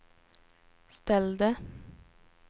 ställde